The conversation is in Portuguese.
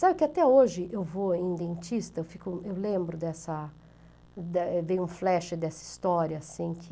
Sabe que até hoje eu vou em dentista, fico, eu lembro dessa, vem um flash dessa história assim que...